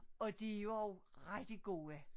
Og de jo også rigtig gode